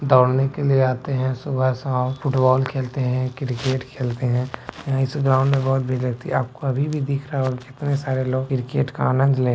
दौड़ने के लिए आते हैं सुबह-शाम फुटबॉल खेलते हैं क्रिकेट खेलते हैं यहां इस ग्राउंड में बहुत व्यक्ति आपको अभी भी दिख रहा होगा कितने सारे लोग क्रिकेट का आनंद ले --